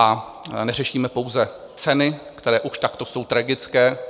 A neřešíme pouze ceny, které už takto jsou tragické.